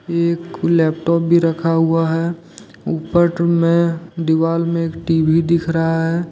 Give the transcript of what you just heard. एक लैपटॉप भी रखा हुआ है ऊपर में दीवाल में टी_वी दिख रहा है।